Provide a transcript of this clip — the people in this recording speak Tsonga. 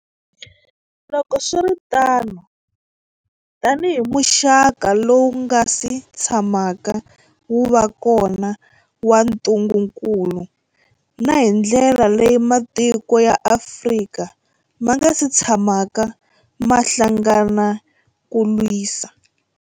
Loko swi ri tano, tanihi muxaka lowu wu nga si tsha maka wu va kona wa ntu ngukulu, na hi ndlela leyi matiko ya Afrika ma nga si tshamaka ma hlangana ku wu lwisa.